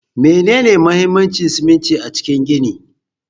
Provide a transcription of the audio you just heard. Menene mahimmancin siminti a cikin gini?